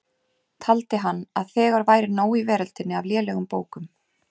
Taldi hann að þegar væri nóg í veröldinni af lélegum bókum.